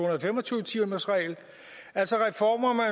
og fem og tyve timersregel altså reformer